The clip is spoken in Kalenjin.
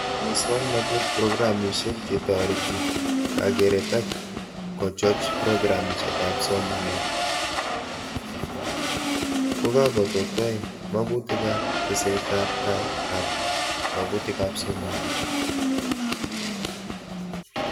Muswonotet-programishek chetoreti kakeret ak kochoch programishekab somanet kokatotoi kamugetab tesetab tai ab magunetab somanet